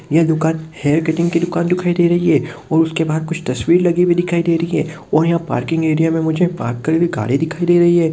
यह दूकान hair cutting दिखाई दे रही है उसके बाहर कुछ तस्वीर लगी हुई दिखाई दे रही है और यहाँ पार्किंग एरिया पार्क करी हुई गाडी दिखाई दे रही है।